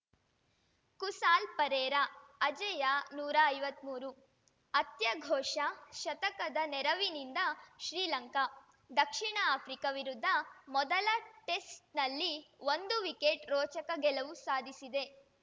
ಕುಸಾಲ್‌ ಪೆರೇರಾಅಜೇಯ ನೂರಾ ಐವತ್ಮೂರು ಅತ್ಯಘೋಷ ಶತಕದ ನೆರವಿನಿಂದ ಶ್ರೀಲಂಕಾ ದಕ್ಷಿಣ ಆಫ್ರಿಕಾ ವಿರುದ್ಧ ಮೊದಲ ಟೆಸ್ಟ್‌ನಲ್ಲಿ ಒಂದು ವಿಕೆಟ್‌ ರೋಚಕ ಗೆಲುವು ಸಾಧಿಸಿದೆ